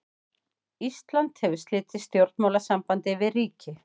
Ísland hefur slitið stjórnmálasambandi við ríki.